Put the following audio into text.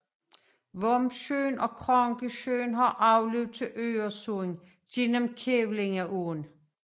Vombsjön og Krankesjön har afløb til Øresund gennem Kävlingeån